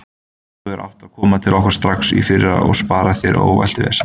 Þú hefðir átt að koma til okkar strax í fyrra og spara þér ómælt vesen.